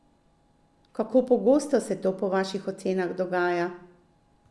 Kako pogosto se to po vaših ocenah dogaja?